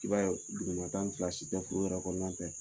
I b'a ye duguma ta in fila si tɛ furu yɛrɛ kɔnɔna tɛ